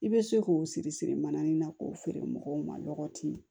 I bɛ se k'o siri siri mananin na k'o feere mɔgɔw ma nɔgɔti